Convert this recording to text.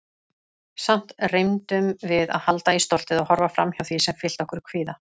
Samt reyndum við að halda í stoltið- og horfa framhjá því sem fyllti okkur kvíða.